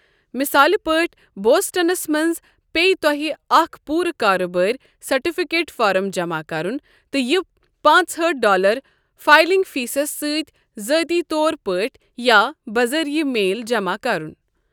مِثال پٲٹھۍ، بوسٹنس منٛز پیہِ تۄہہِ اکھ پوٗرٕ کارٕبٲرۍ سرفٕٹِکیٹ فارم جمع کرُن تہٕ یہِ پانٛژہأٹھ ڈالر فائلنگ فیسس سۭتۍ ذٲتی طور پٲٹھۍ یا بذریعہٕ میل جمع کَرُن۔